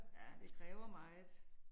Ja det kræver meget